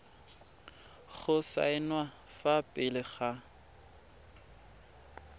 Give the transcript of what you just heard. go saenwa fa pele ga